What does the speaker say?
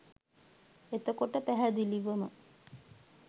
එතකොට පැහැදිලිවම